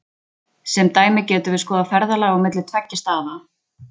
sem dæmi getum við skoðað ferðalag á milli tveggja staða